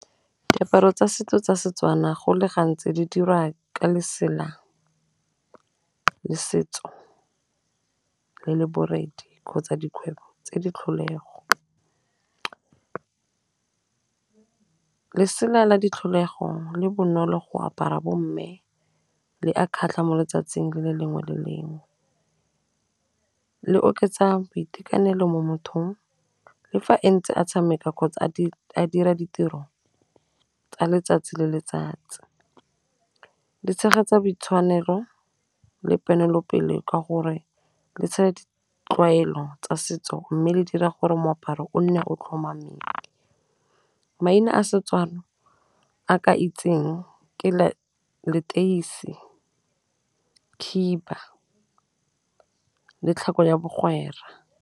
Diaparo tsa setso tsa Setswana go le gantsi di dirwa ka lesela la setso le le borethe kgotsa dikgwebo tse di tlholego, lesela la di tlholego le bonolo go apara bo mme le a kgatlha mo letsatsing le le lengwe le lengwe, le oketsa boitekanelo mo mothong le fa e ntse a tshameka kgotsa a a dira ditiro tsa letsatsi le letsatsi, le tshegetsa boitshwanelo le ponelopele ka gore le tlwaelo tsa setso mme le dira gore moaparo o nne o tlhomameng. Maina a setswalo a ke itseng ke leteisi, khiba, le tlhako ya bagwera.